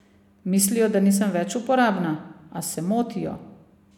Mislijo, da nisem več uporabna, a se motijo.